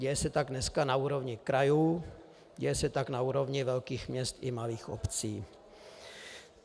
Děje se tak dneska na úrovni krajů, děje se tak na úrovni velkých měst i malých obcí.